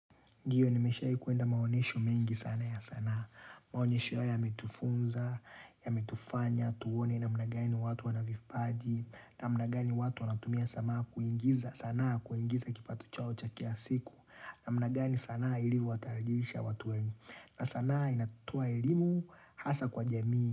Ndio nimeshai kuenda maonesho mengi sana ya sanaa. Maonyesho ya yametufunza, ya metufanya, tuone namnagani watu wanavipaji. Na mnagani watu wanatumia sama kuingiza sanaa kuingiza kipato chao cha kila siku. Na mnagani sana ilivo watarajilisha watu wengi. Na sanaa inatoa elimu hasa kwa jamii.